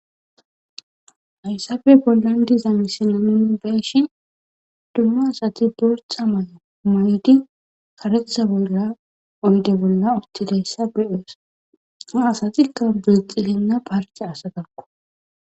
Hayisappe bolla deiza missle bolla beshshe dumma asate botha mayo mayide kareththa oyide bolla uteda ha asteka bilxegana parte astakko.